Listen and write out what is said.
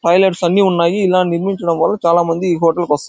Highlights అన్నీ ఉన్నాయి. ఇలా ముందుంచడం వల్ల చాలా మంది హోటల్ కి వస్--